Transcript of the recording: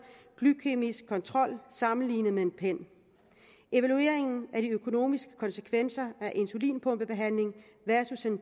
glykæmisk kontrol sammenlignet med en pen evalueringen af de økonomiske konsekvenser af insulinpumpebehandling versus en